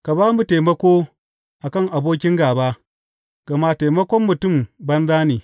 Ka ba mu taimako a kan abokin gāba, gama taimakon mutum banza ne.